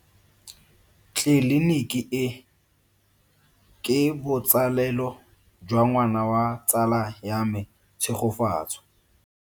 Tleliniki e, ke botsalelo jwa ngwana wa tsala ya me Tshegofatso.